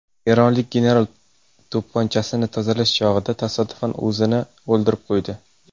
Eronlik general to‘pponchasini tozalash chog‘ida tasodifan o‘zini o‘ldirib qo‘ydi.